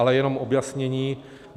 Ale jenom objasnění.